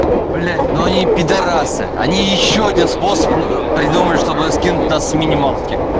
блять но они пидарасы они ещё один способ придумали чтобы скинуть нас с минималки